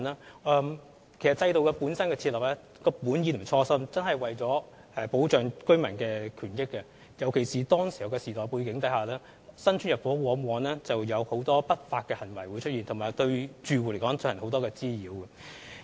設立制度的本意及初衷真的是為了保障居民的權益，尤其是在當時的時代背景之下，新屋邨入伙時往往出現很多不法行為，對住戶造成很多滋擾。